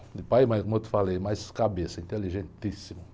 Meu pai, mas como eu te falei, mais cabeça, inteligentíssimo.